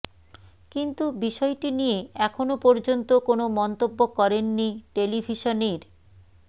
কিন্তু বিষয়টি নিয়ে এখনও পর্যন্ত কোনো মন্তব্য করেননি টেলিভিশনের